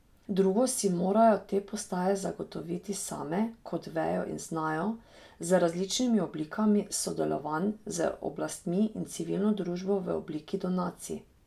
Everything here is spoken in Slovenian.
Drugo si morajo te postaje zagotoviti same, kot vejo in znajo, z različnimi oblikami sodelovanj z oblastmi in civilno družbo v obliki donacij.